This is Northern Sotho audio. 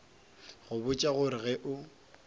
go botša gore ge o